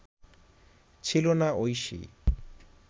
ছিল না ঐশী